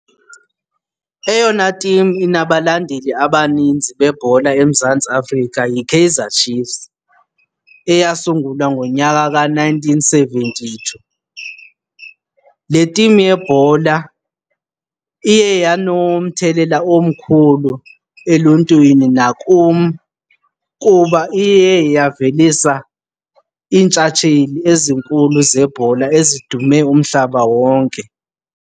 Eyona tim inabalandeli abaninzi bebhola eMzantsi Afrika yiKaizer Chiefs eyasungulwa ngonyaka ka-nineteen seventy-two. Le tim yebhola iye yanomthelela omkhulu eluntwini nakum kuba iye yavelisa iintshatsheli ezinkulu zebhola ezidume umhlaba wonke.